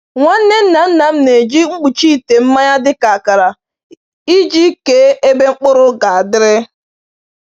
Nwanne nna nna m na-eji mkpuchi ite mmanya dị ka akara iji kee ebe mkpụrụ ga-adịrị.